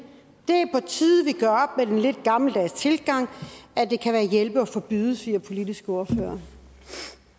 er den lidt gammeldags tilgang at det kan hjælpe at forbyde siger politiske ordførere